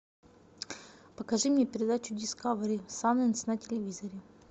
покажи мне передачу дискавери сайнс на телевизоре